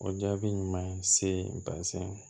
O jaabi ɲuman ye se bazɛn ma